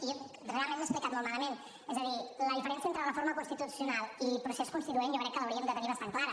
i realment m’he explicat molt malament és a dir la diferència entre reforma constitucional i procés constituent jo crec que l’hauríem de tenir bastant clara